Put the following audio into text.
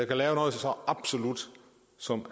kan lave noget så absolut som